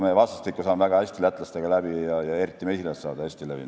Meie vastastikku saame väga hästi lätlastega läbi ja eriti mesilased saavad hästi läbi.